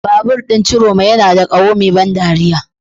Babur ɗin Ciroma yana da ƙaho mai ban dariya.